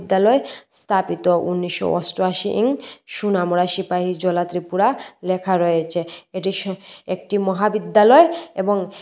বিদ্যালয় স্থাপিত উনিশশো অষ্টআশি ইং সুনামুরা সিপাহি জলা ত্রিপুরা লেখা রয়েছে এটি স একটি মহাবিদ্যালয় এবং--